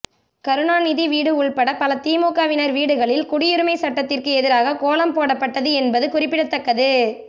கருணாநிதி வீடு உள்பட பல திமுகவினர் வீடுகளில் குடியுரிமை சட்டத்திற்கு எதிராக கோலம் போடப்பட்டது என்பது குறிப்பிடத்தக்கது